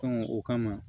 o kama